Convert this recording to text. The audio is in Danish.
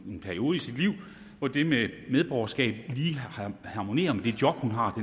i en periode i sit liv hvor det med medborgerskab lige harmonerer med det job hun har